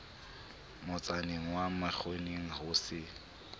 motsaneng wa menkgwaneng ho se